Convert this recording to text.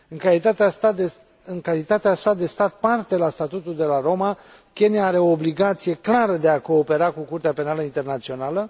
În calitatea sa de stat parte la statutul de la Roma, Kenya are o obligație clară de a coopera cu Curtea Penală Internațională.